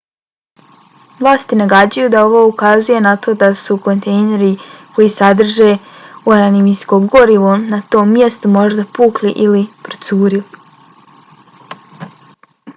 vlasti nagađaju da ovo ukazuje na to da su kontejneri koji sadrže uranijumsko gorivo na tom mjestu možda pukli ili procurili